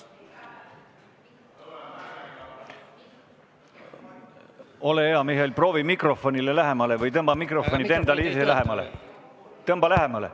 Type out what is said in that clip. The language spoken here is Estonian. Ole hea, Mihhail, proovi mikrofonile lähemale seista või tõmba mikrofon endale lähemale!